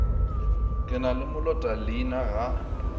ke na le molotaleina ga